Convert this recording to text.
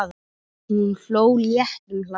Hún hló léttum hlátri.